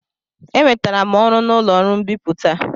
Enwetara m ọrụ n'ụlọ ọrụ mbipụta.